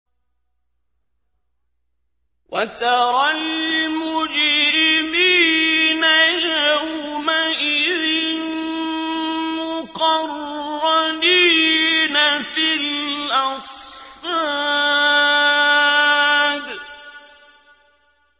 وَتَرَى الْمُجْرِمِينَ يَوْمَئِذٍ مُّقَرَّنِينَ فِي الْأَصْفَادِ